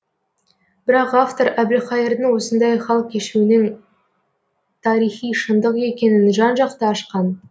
бірақ автор әбілқайырдың осындай хал кешуінің тарихи шындық екенін жан жақты ашқан